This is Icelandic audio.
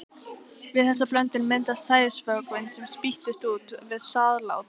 Við þessa blöndun myndast sæðisvökvinn, sem spýtist út við sáðlát.